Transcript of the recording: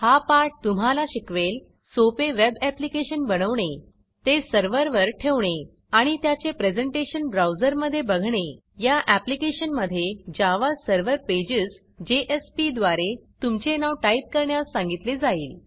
हा पाठ तुम्हाला शिकवेल सोपे वेब ऍप्लिकेशन बनवणे ते सर्व्हरवर ठेवणे आणि त्याचे प्रेझेंटेशन ब्राऊजरमधे बघणे या ऍप्लिकेशनमधे जावा सर्व्हर पेजेस द्वारे तुमचे नाव टाईप करण्यास सांगितले जाईल